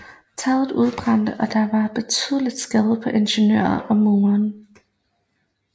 Taget udbrændte og der var betydelige skader på interiøret og murene